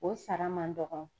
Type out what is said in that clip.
O sara man dɔngɔn.